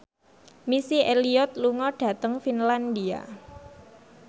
Missy Elliott lunga dhateng Finlandia